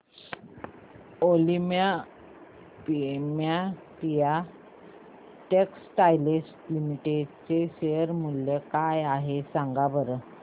Olympia textiles limited चे share मूल्य काय आहे सांगा बरं